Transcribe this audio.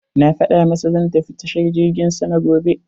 Na faɗa masa zan tafi tashar jirgin sama gobe.